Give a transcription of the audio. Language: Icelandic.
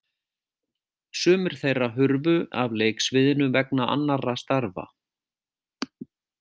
Sumir þeirra hurfu af leiksviðinu vegna annarra starfa.